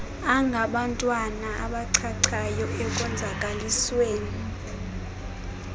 angabantwana abachachayo ekonzakalisweni